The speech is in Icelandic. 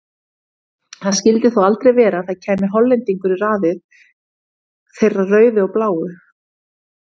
Það skildi þó aldrei vera að það kæmi Hollendingur í raðið þeirra rauðu og bláu?